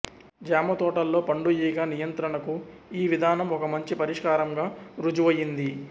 జామ తోటల్లో పండుఈగ నియంత్రణకు ఈ విధానం ఒక మంచి పరిష్కారంగా రుజువయింది